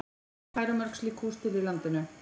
En hvað eru mörg slík hús til á landinu?